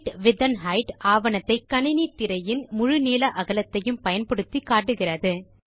bit width and height ஆவணத்தை கணினித் திரையின் முழு நீள அகலத்தையும் பயன்படுத்தி காட்டுகிறது